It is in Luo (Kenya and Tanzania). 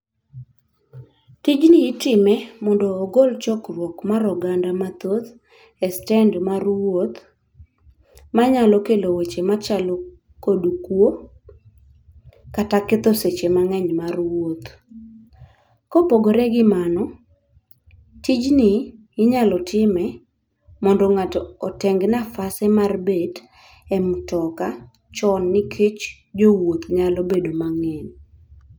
Tijni itime mondo ogol chokruok mar oganda mathoth e stend mar wuoth, manyalo kelo weche machalo kod kwo kata ketho seche mang'eny mar wuoth. Kopogore gi mano, tijni inyalo time mondo ng'ato oteng' nafase mar bet e mtoka chon nikech jowuoth nyalo bedo mang'eny.